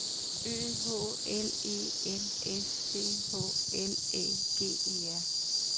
Ø H L E N S C H L Æ G E R